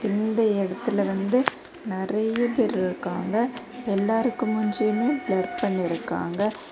இந்த எடத்துல வந்து நெறைய பேர் இருக்காங்க எல்லாருக்கு மூஞ்சியுமே பிளர் பண்ணி இருக்காங்க.